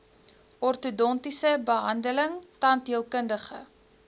ortodontiese behandeling tandheelkundige